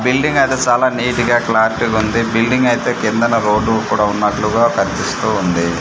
Building అయితే చాలా neat గా క్లారిటీ గా ఉంది బిల్డింగ్ అయితే కిందన రోడ్డు కూడా ఉన్నట్లుగా కన్పిస్తూ ఉంది.